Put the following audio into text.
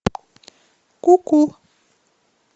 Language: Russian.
ку ку